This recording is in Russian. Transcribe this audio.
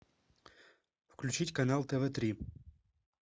включить канал тв три